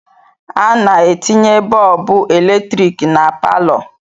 A na-etinye bọọbụ eletrik na palọ.